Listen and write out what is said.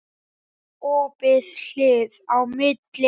Opið hlið á milli.